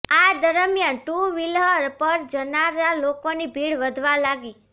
આ દરમિયાન two wheeler પર જનારા લોકોની ભીડ વધવા લાગી